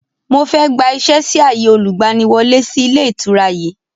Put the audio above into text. Mo fẹ́ gbà ìṣẹ́ sì ààyè olùgbaniwọ́lẹ́ sì ilé ìtura yìí